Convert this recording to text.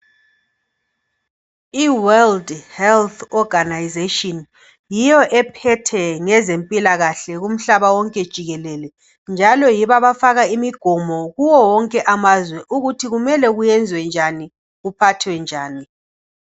I World Health Organisation yiyo ephethe ngezempilakahle kumhlaba wonke jikelele njalo yibo abafaka imigomo kuwo wonke amazwe ukuthi kumele kwenziwe njani kuphathwe njani